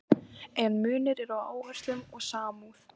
En munur er á áherslum og samúð.